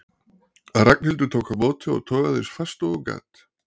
Ragnhildur tók á móti og togaði eins fast og hún gat.